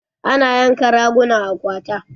Ana yanka raguna a kwata